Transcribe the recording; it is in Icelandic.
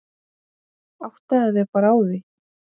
Áttaðu þig bara á því.